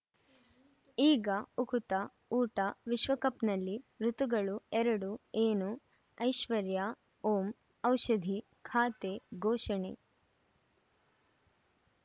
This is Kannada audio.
ಈಗ ಉಕುತ ಊಟ ವಿಶ್ವಕಪ್‌ನಲ್ಲಿ ಋತುಗಳು ಎರಡು ಏನು ಐಶ್ವರ್ಯಾ ಓಂ ಔಷಧಿ ಖಾತೆ ಘೋಷಣೆ